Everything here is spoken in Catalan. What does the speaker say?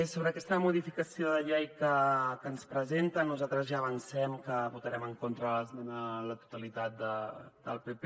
sobre aquesta modificació de llei que ens presenten nosaltres ja avancem que votarem en contra de l’esmena a la totalitat del pp